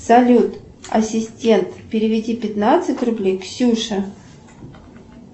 салют ассистент переведи пятнадцать рублей ксюше